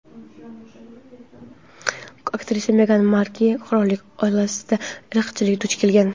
aktrisa Megan Markl qirollik oilasida irqchilikka duch kelgan.